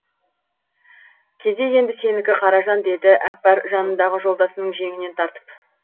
кезек енді сенікі қаражан деді әкпар жанындағы жолдасының жеңінен тартып